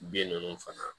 Bin ninnu fana